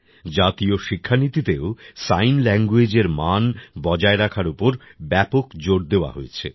জাতীয় শিক্ষানীতিতেও সাইন languageএর মান বজায় রাখার ওপর ব্যাপক জোর দেওয়া হয়েছে